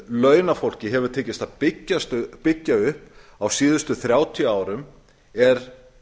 launafólki hefur tekist að byggja upp á síðustu þrjátíu árum er